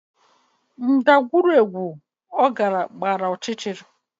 Ndagwurugwu ọ gara gbara ọchịchịrị